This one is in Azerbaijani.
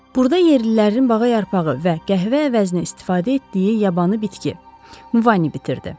Burada yerlilərin bağa yarpağı və qəhvə əvəzinə istifadə etdiyi yabanı bitki, muvani bitirdi.